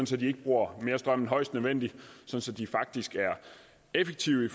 så de ikke bruger mere strøm end højst nødvendigt så så de faktisk er effektive